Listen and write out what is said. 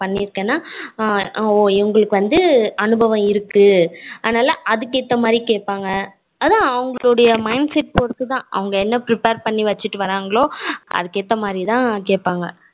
பன்னிருக்கேனா oh இவங்களுக்கு வந்து அனுபவம் இருக்கு அதுனால அதுக்கு ஏத்த மாதிரி கேப்பாங்க அதான் அவங்களுடைய mindset பொருது தான் அவங்க என்ன prepare பண்ணி வச்சுடு வராங்களோ அதுக்கு ஏத்த மாதிரி தான் கேப்பாங்க